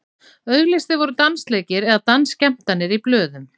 auglýstir voru dansleikir eða dansskemmtanir í blöðum